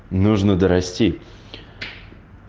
нужно дорасти